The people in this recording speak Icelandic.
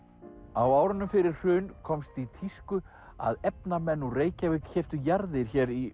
á árunum fyrir hrun komst í tísku að efnamenn úr Reykjavík keyptu jarðir hér í